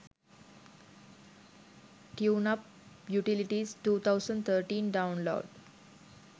tuneup utilities 2013 download